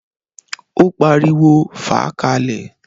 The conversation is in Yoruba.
Ó pariwo, "fàá ka lẹ̀!"